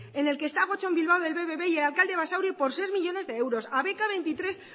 en el que está gotzón bilbao del bbb y el alcalde de basauri por seis millónes de euros a